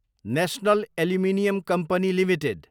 national aluminium company Ltd